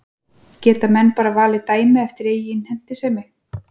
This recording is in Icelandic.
Geta menn bara valið dæmi eftir eigin hentisemi?